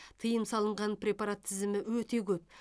тыйым салынған препарат тізімі өте көп